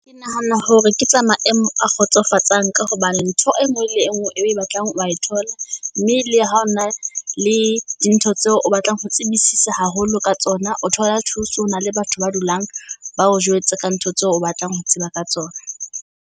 Ke nahana hore ke tsa maemo a kgotsofatsang ka hobane ntho enngwe le enngwe e o e batlang wa e thola. Mme le ha ho na le di ntho tseo o batlang ho tsebisisa haholo ka tsona, o thola thuso. Ho na le batho ba dulang ba o jwetse ka ntho tseo o batlang ho tseba ka tsona.